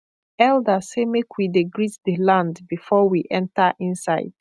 elder say make we dey greet the land before we enter inside